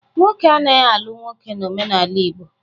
Nwoke anaghị alụ nwoke n'omenala Igbo.